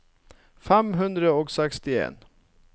fem hundre og sekstien